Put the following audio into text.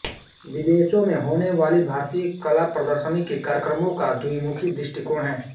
विदेशों में होनेवाली भारतीय कला प्रदर्शनी के कार्यक्रमों का द्विमुखी दृष्टिकोण है